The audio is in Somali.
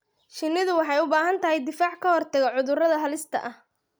Shinnidu waxay u baahan tahay difaac ka hortagga cudurrada halista ah.